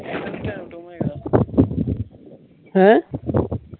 ਹੈਂ?